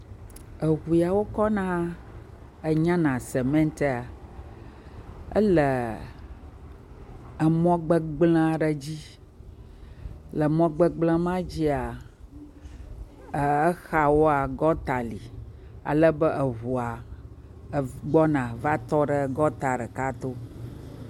Eŋuyawo kɔ na enyana sement ye ele emɔ gbegblẽ aɖe dzi, le emɔ gbegblẽ ma dzia, exawoa gɔta li ale be eŋua gbɔna va tɔɖe gɔta ɖeka to.